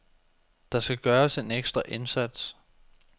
Der skal gøres en ekstra indsats.